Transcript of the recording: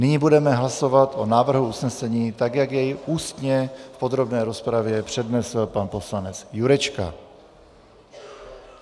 Nyní budeme hlasovat o návrhu usnesení, tak jak jej ústně v podrobné rozpravě přednesl pan poslanec Jurečka.